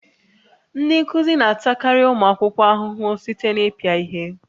Ndị nkuzi na-atakarị ụmụ akwụkwọ ahụhụ site na ịpịa ihe